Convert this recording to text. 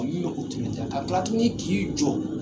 ka kila tuguni k'i jɔ.